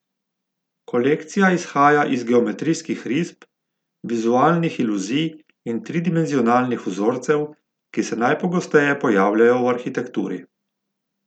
Kolekcija izhaja iz geometrijskih risb, vizualnih iluzij in tridimenzionalnih vzorcev, ki se najpogosteje pojavljajo v arhitekturi.